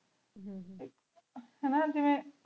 ਹਾਨਾ ਜਿਵ੍ਯਨ